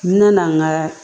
N nana n ka